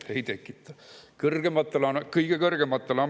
Kas see tekitab turvatunnet?